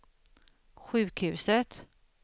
sjukhuset